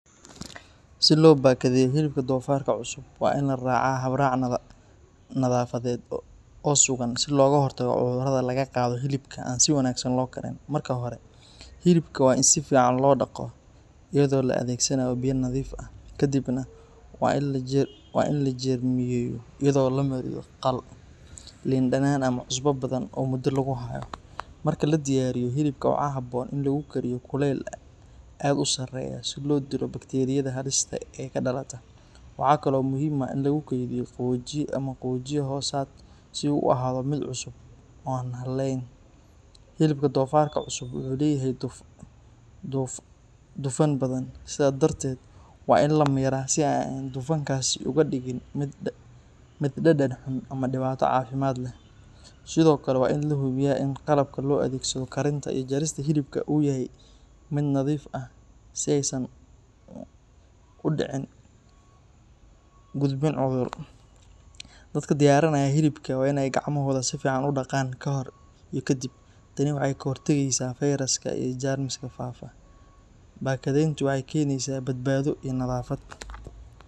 Si loo bakadeeyo hilibka dofarka cusub, waa in la raacaa hab-raac nadaafadeed oo sugan si looga hortago cudurrada laga qaado hilibka aan si wanaagsan loo karin. Marka hore, hilibka waa in si fiican loo dhaqo iyadoo la adeegsanayo biyo nadiif ah. Kadibna waa in la jeermiyeeyo iyadoo la mariyo khal, liin dhanaan ama cusbo badan oo muddo lagu hayo. Marka la diyaariyo, hilibka waxaa habboon in lagu kariyo kulayl aad u sarreeya si loo dilo bakteeriyada halista ah ee ka dhalata. Waxa kale oo muhiim ah in lagu kaydiyo qaboojiye ama qaboojiye hoosaad si uu u ahaado mid cusub oo aan hallayn. Hilibka dofarka cusub wuxuu leeyahay dufan badan, sidaa darteed waa in la miiraa si aanay dufankaasi uga dhigin mid dhadhan xun ama dhibaato caafimaad leh. Sidoo kale waa in la hubiyo in qalabka loo adeegsado karinta iyo jarista hilibka uu yahay mid nadiif ah si aysan u dhicin is gudbin cudur. Dadka diyaarinaya hilibka waa in ay gacmahooda si fiican u dhaqaan ka hor iyo kadib. Tani waxay ka hortagaysaa feyraska iyo jeermiska faafa. Bakadeyntu waxay keenaysaa badbaado iyo nadaafad.